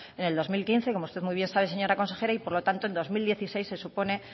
en el dos mil quince como usted muy bien sabe señora consejera y por lo tanto en dos mil dieciséis se supone